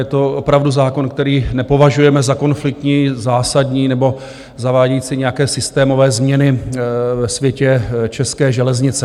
Je to opravdu zákon, který nepovažujeme za konfliktní, zásadní nebo zavádějící nějaké systémové změny ve světě české železnice.